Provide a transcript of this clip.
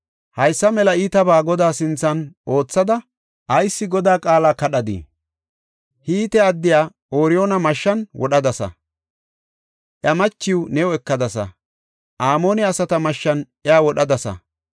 Haysa mela iitabaa Godaa sinthan oothada, ayis Godaa qaala kadhadii? Hite addiya Ooriyoona mashshan wodhadasa; iya machiw ne ekadasa. Amoone asata mashshan iya wodhadasa.